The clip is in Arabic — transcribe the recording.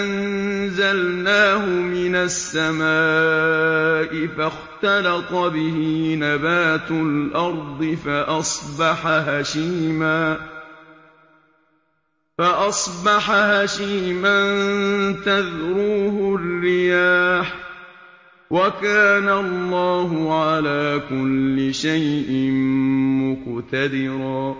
أَنزَلْنَاهُ مِنَ السَّمَاءِ فَاخْتَلَطَ بِهِ نَبَاتُ الْأَرْضِ فَأَصْبَحَ هَشِيمًا تَذْرُوهُ الرِّيَاحُ ۗ وَكَانَ اللَّهُ عَلَىٰ كُلِّ شَيْءٍ مُّقْتَدِرًا